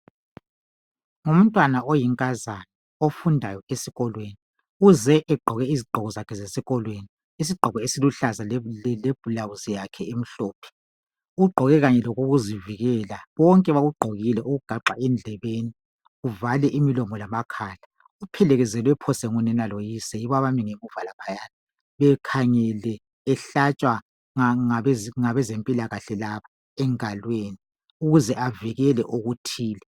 Ngumntwana oyinkazana ofundayo esikolweni uze egqoke izigqoko zakhe zesikolweni. Isigqoko esiluhlaza lebulawuzi yakhe emhlophe ugqoke kanye lokokuzivikela. Bonke bakugqokile kwagaxwa endlebeni kuvale imilomo lamakhala. Uphelekezelwe phose ngunina loyise yibo abangemuva lapha bekhangele ehlatshwa ngabezempilakahle laba engaleni ukuze avikele okuthile.